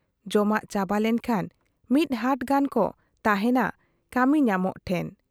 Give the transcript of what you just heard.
ᱡᱚᱢᱟᱜ ᱪᱟᱵᱟ ᱞᱮᱠᱷᱟᱱ ᱢᱤᱫ ᱦᱟᱴ ᱜᱟᱱ ᱠᱚ ᱛᱟᱦᱮᱱᱟ ᱠᱟᱢᱤᱧᱟᱢᱚᱜ ᱴᱷᱮᱫ ᱾